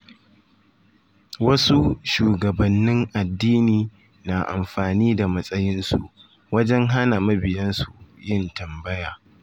Wasu shugabannin addini na amfani da matsayinsu wajen hana mabiyansu yin tambaya.